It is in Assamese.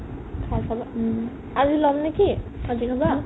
খাই চাবা আজি যাম নেকি কাজিৰঙাত